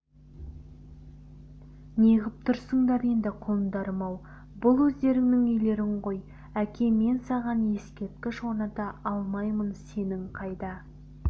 неғып тұрсыңдар енді құлындарым-ау бұл өздеріңнің үйлерің ғой әке мен саған ескерткіш орната алмаймын сенің қайда